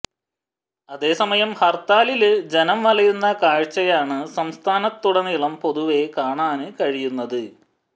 അതേസമയം ഹര്ത്താലില് ജനം വലയുന്ന കാഴ്ച്ചയാണ് സംസ്ഥാനത്തുടനീളം പൊതുവേ കാണാന് കഴിയുന്നത്